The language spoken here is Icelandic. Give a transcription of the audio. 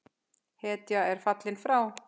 Hetja er fallin frá!